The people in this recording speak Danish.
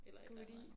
Goodie